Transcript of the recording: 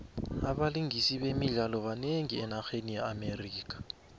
abalingisi bemidlalo banengi enarheni ye amerika